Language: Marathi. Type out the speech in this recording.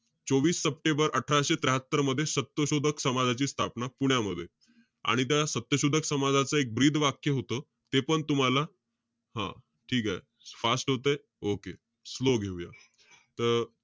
चोवीस सप्टेंबर अठराशे त्र्याहात्तर मध्ये, सत्यशोधक समाजाची स्थापना, पुण्यामध्ये. आणि त्या सत्यशोधक समाजाचं एक ब्रीदवाक्य होतं. तेपण तुम्हाला हं ठीके. Fast होतंय? Okay, slow घेऊया. त,